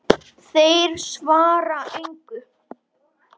Þeir svara engu.